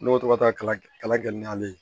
Ne bɛ to ka taa kala gɛn n'ale ye